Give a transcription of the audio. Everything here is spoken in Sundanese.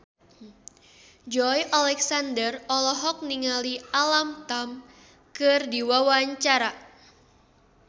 Joey Alexander olohok ningali Alam Tam keur diwawancara